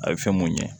A bɛ fɛn mun ɲɛ